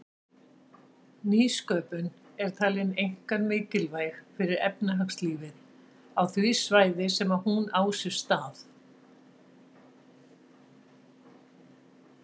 Nýsköpun er talin einkar mikilvæg fyrir efnahagslífið á því svæði sem hún á sér stað.